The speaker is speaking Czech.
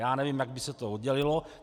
Já nevím, jak by se to oddělilo.